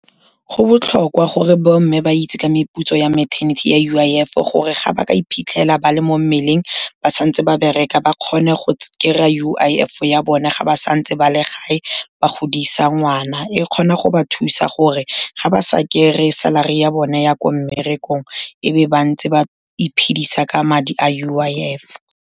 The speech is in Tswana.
Go botlhokwa gore bomme ba itse ka meputso ya maternity ya U_I_F gore ga ba ka iphitlhela ba le mo mmeleng ba santse ba bereka, ba kgone go kry-a U_I_F ya bona ga ba santse ba le gae ba godisa ngwana, e kgona go ba thusa gore ga ba sa kry-e salary ya bone ya ko mmerekong, e be bantse ba iphedisa ka madi a U_I_F.